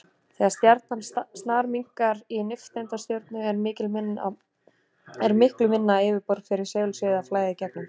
Þegar stjarnan snarminnkar í nifteindastjörnu er miklu minna yfirborð fyrir segulsviðið að flæða í gegnum.